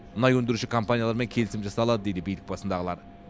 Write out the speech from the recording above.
мұнай өндіруші компаниялармен келісім жасалады дейді билік басындағылар